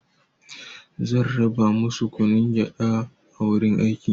Zan raba masu kunun gyaɗa a wurin aiki.